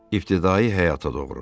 İbtidai həyata doğru.